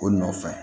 O nɔfɛ